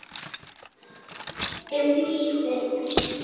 Um lífið.